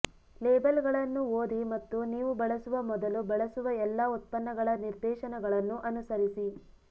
ಲೇಬಲ್ಗಳನ್ನು ಓದಿ ಮತ್ತು ನೀವು ಬಳಸುವ ಮೊದಲು ಬಳಸುವ ಎಲ್ಲಾ ಉತ್ಪನ್ನಗಳ ನಿರ್ದೇಶನಗಳನ್ನು ಅನುಸರಿಸಿ